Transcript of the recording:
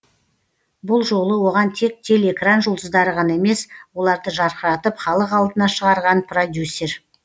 бұл жолы оған тек телеэкран жұлдыздары ғана емес оларды жарқыратып халық алдына шығарған продюсер